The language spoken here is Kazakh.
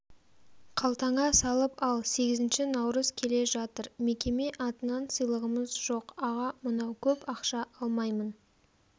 қалтаңа салып ал сегізінші наурыз келе жатыр мекеме атынан сыйлығымыз жоқ аға мынау көп ақша алмаймын